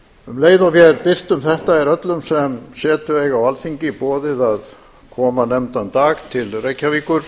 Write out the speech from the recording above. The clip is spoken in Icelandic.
um leið og vér birtum þetta er öllum sem setu eiga á alþingi boðið að koma nefndan dag til reykjavíkur